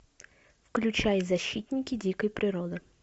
включай защитники дикой природы